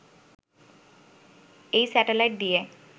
এই স্যাটেলাইট দিয়ে